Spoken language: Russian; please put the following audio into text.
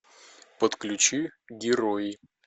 подключи герои